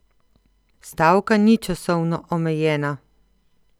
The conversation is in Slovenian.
Stavka ni časovno omejena.